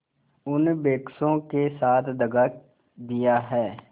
उन बेकसों के साथ दगा दिया है